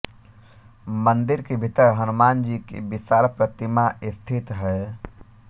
मंदिर के भीतर हनुमान जी की विशाल प्रतिमा स्थित है